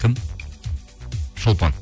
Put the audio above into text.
кім шолпан